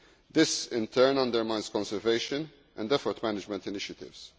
This in turn undermines conservation and effort management initiatives.